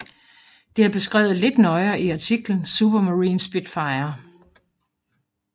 Det er beskrevet lidt nøjere i artiklen Supermarine Spitfire